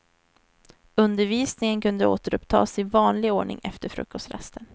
Undervisningen kunde återupptas i vanlig ordning efter frukostrasten.